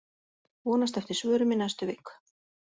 Vonast eftir svörum í næstu viku